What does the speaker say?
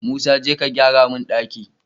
Musa jeka ka gyara mun ɗaki